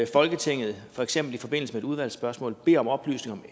folketinget for eksempel i forbindelse med et udvalgsspørgsmål beder om oplysninger